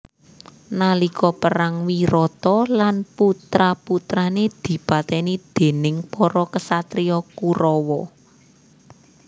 Nalika perang Wirata lan putra putrane dipateni déning para ksatria Kurawa